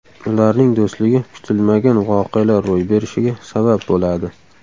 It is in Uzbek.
Ularning do‘stligi kutilmagan voqealar ro‘y berishiga sabab bo‘ladi.